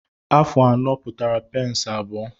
Afụ anọ pụtara peensị abụọ.